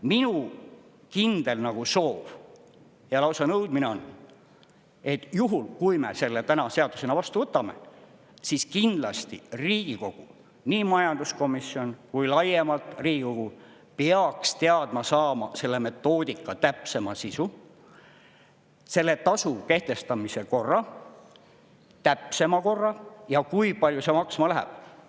Minu kindel soov ja lausa nõudmine on, et juhul, kui me selle täna seadusena vastu võtame, siis kindlasti Riigikogu, nii majanduskomisjon kui laiemalt Riigikogu, peaks teada saama selle metoodika täpsema sisu, selle tasu kehtestamise korra, täpsema korra, ja kui palju see maksma läheb.